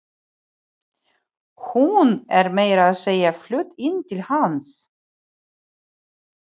Hún er meira að segja flutt inn til hans.